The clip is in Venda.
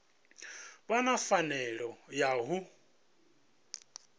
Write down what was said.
vha na pfanelo ya u